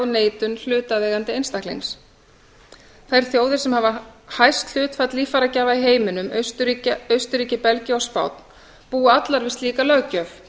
neitun hlutaðeigandi einstaklings þær þjóðir sem hafa hæst hlutfall líffæragjafa í heiminum austurríki belgía og spánn búa allar við slíka löggjöf